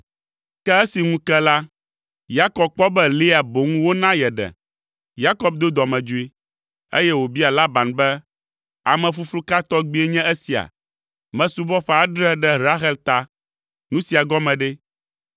Ke esi ŋu ke la, Yakob kpɔ be Lea boŋ wona yeɖe! Yakob do dɔmedzoe, eye wòbia Laban be, “Amefuflu ka tɔgbie nye esia? Mesubɔ ƒe adre ɖe Rahel ta! Nu sia gɔme ɖe?”